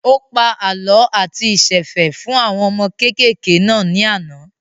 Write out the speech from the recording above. Ó pa àlọ́ àti ìsẹ̀fẹ̀ fún àwọn ọmọ kékèké náà ní àná